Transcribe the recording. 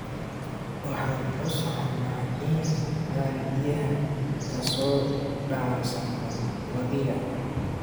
Waxaan u soconnaa in aan biyaha ka soo dhaansanno webiga